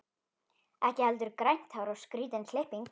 Ekki heldur grænt hár og skrýtin klipping.